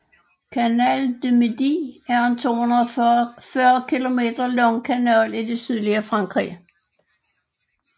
Canal du Midi er en 240 km lang kanal i det sydlige Frankrig